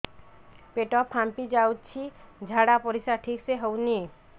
ପେଟ ଫାମ୍ପି ଯାଉଛି ଝାଡ଼ା ପରିସ୍ରା ଠିକ ସେ ହଉନି